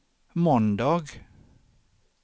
måndag